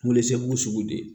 Welesebugu sugu di